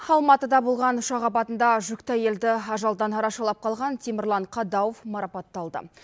алматыда болған ұшақ апатында жүкті әйелді ажалдан арашалап қалған темірлан қадауов марапатталды